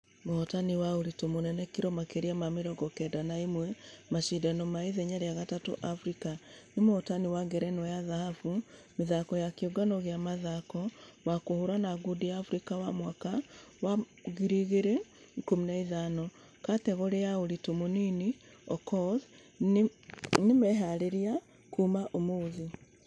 Mũhotani wa ũritũ mũnene kiro makeria ma mĩrongo kenda na ĩmwe mashidano ma ithenya rĩa gatatũ africa. Na mũhotani wa ngerenwa ya dhahabu mĩthako ya kĩũngano gĩa mũthako wa kũhũrana ngundi africa wa mwaka wa 2015 kategore ya ũritũ mũnini okoth nĩmeharĩirie kũ......ũmũthĩ.